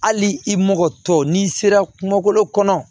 Hali i mɔkɛ tɔ n'i sera kungolo kɔnɔ